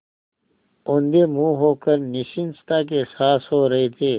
औंधे मुँह होकर निश्चिंतता के साथ सो रहे थे